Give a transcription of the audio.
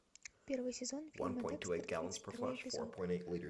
первый сезон фильма декстер тридцать второй эпизод